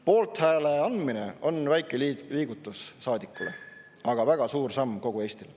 Poolthääle andmine on väike liigutus saadikule, aga väga suur samm kogu Eestile.